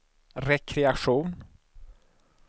rekreation